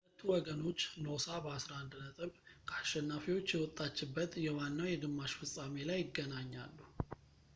ሁለቱ ወገኖች ኖሳ በ11 ነጥብ ከአሸናፊዎች የወጣችበት የዋናው የግማሽ ፍፃሜ ላይ ይገናኛሉ